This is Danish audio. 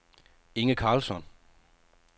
Inge Carlsson